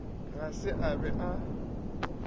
ga se a be a